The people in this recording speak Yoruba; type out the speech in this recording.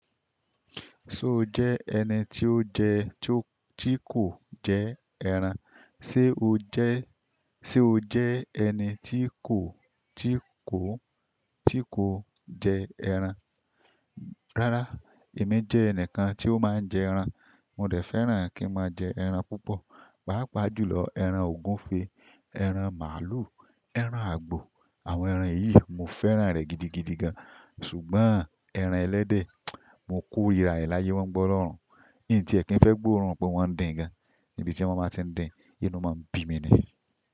Ṣé o jẹ́ ẹni tí ó jẹ tí kò jẹ ẹran? Ṣé o jẹ́ ẹni tí kò tí kò tí kò jẹ ẹran? Rárá, èmi jẹ́ ẹnìkan tí ó máa ń jẹ ẹran. Mo dẹ̀ fẹ́ràn kí n máa jẹ ẹran púpọ̀, pàápàá jùlọ ẹran ògúnfe, ẹran màlúù, ẹran àgbò. Àwọn ẹran yìí mo fẹ́ràn rẹ̀ gidigidi gan. Ṣùgbọ́n ẹran ẹlẹ́dẹ̀, mo korira rẹ̀ láyé wọn ń gbọ́ lọ́run. N tí ẹ kí n fẹ́ gbóòórùn pé wọ́n ń dín gan, ibi tí wọ́n ba ti ń dín, inú máa ń bí mi ni.